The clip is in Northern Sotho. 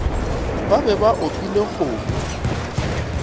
ba be ba opile kgomo